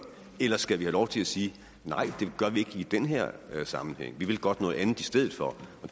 eller skal vi have lov til at sige nej det gør vi ikke i den her sammenhæng vi vil godt noget andet i stedet for